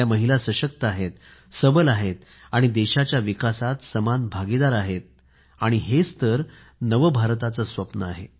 महिला सशक्त आहेत सबल आहेत देशाच्या विकासात समान भागीदार आहेत हेच तर नव भारताचे स्वप्न आहे